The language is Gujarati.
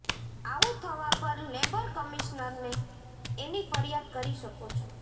આવું થવા પર લેબર કમિશનરને એની ફરિયાદ કરી શકો છો